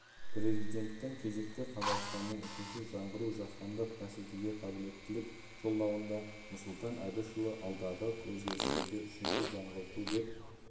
президенттің кезекті қазақстанның үшінші жаңғыруы жаһандық бәсекеге қабілеттілік жолдауында нұрсұлтан әбішұлы алдағы өзгерістерді үшінші жаңғырту деп